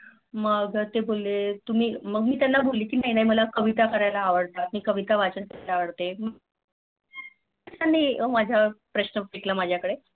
मग ते बोलले तुम्ही मग मी त्यांना बोलले नाही नाही मला कविता कार्याला आवडते कविता वाचान आवडते त्यानी प्रश्न फेकला माझ्या कडे